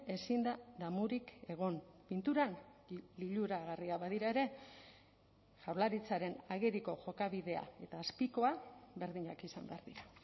ezin da damurik egon pinturan liluragarria badira ere jaurlaritzaren ageriko jokabidea eta azpikoa berdinak izan behar dira